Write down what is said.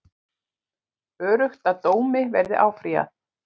Öruggt að dómi verði áfrýjað